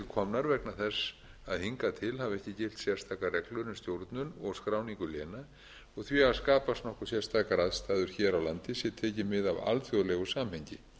vegna þess að hingað til hafi ekki gilt sérstakar reglur um stjórnun og skráningu léna og því hafa skapast nokkuð sérstakar aðstæður hér á landi sé tekið mið af alþjóðlegu samhengi